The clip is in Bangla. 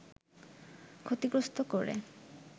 ক্ষতিগ্রস্ত করে